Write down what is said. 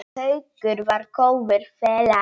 Haukur var góður félagi.